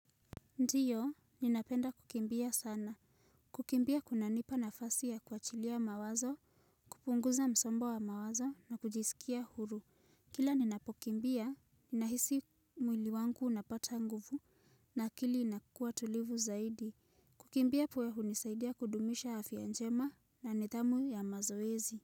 Ndiyo, ninapenda kukimbia sana. Kukimbia kuna nipa nafasi ya kuachilia mawazo, kupunguza msongo wa mawazo na kujisikia huru. Kila ninapokimbia, ninahisi mwili wangu unapata nguvu na akili inakuwa tulivu zaidi. Kukimbia huwa hunisaidia kudumisha afya njema na nidhamu ya mazoezi.